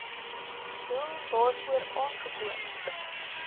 doel waarvoor aangekoop